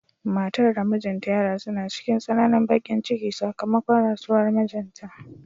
Matar da mijinta ya rasu na cikin tsananin bakin ciki sakamakon rasuwar mijinta.